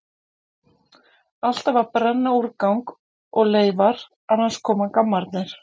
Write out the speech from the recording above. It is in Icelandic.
Alltaf að brenna úrgang og leifar, annars koma gammarnir!